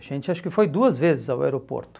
A gente acho que foi duas vezes ao aeroporto.